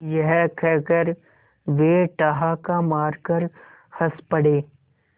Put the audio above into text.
यह कहकर वे ठहाका मारकर हँस पड़े